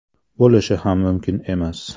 Bo‘lishi ham mumkin emas.